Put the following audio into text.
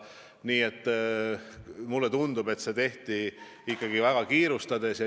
Nii et mulle tundub, et see tehti ikka väga kiirustades.